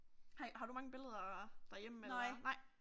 Har I har du mange billeder derhjemme eller? Nej